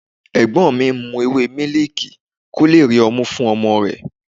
Ẹ̀gbọ́n mi ń mu ewé miliki kó lè rí ọmú fún ọmọ rẹ̀.